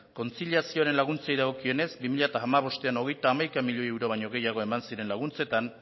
kontziliazioari buruzko laguntzei dagokionez bi mila hamabostean hogeita hamaika milioi euro baino gehiago eman ziren laguntzetan